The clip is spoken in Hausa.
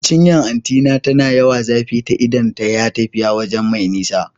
Cinyan anti na na yawan zafe ta idan ta yi tafiya waje mai nisa